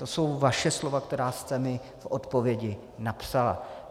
To jsou vaše slova, která jste mi v odpovědi napsala.